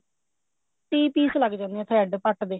ਤੀਹ ਪੀਸ ਲੱਗ ਜਾਂਦੇ ਨੇ thread ਪੱਟ ਦੇ